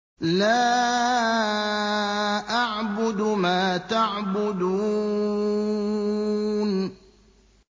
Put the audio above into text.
لَا أَعْبُدُ مَا تَعْبُدُونَ